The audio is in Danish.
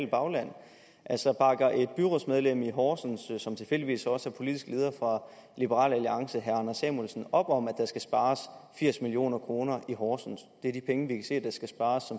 bagland altså bakker et byrådsmedlem i horsens som tilfældigvis også er politisk leder for liberal alliance herre anders samuelsen op om at der skal spares firs million kroner i horsens det er de penge vi kan se der skal spares